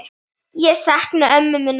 Ég sakna ömmu minnar.